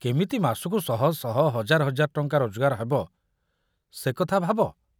କେମିତି ମାସକୁ ଶହ ଶହ ହଜାର ହଜାର ଟଙ୍କା ରୋଜଗାର ହେବ ସେ କଥା ଭାବ।